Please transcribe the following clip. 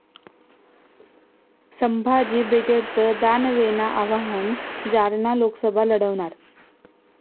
संभाजी ब्रिगेडचं दानवेंना आव्हान, जालना लोकसभा लढवणार!